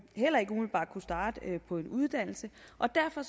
heller ikke umiddelbart kunne starte på en uddannelse og derfor